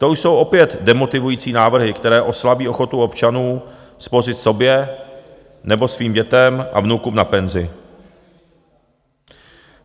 To už jsou opět demotivující návrhy, které oslabí ochotu občanů spořit sobě nebo svým dětem a vnukům na penzi.